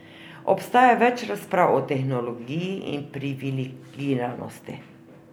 Obstaja več razprav o tehnologiji in privilegiranosti.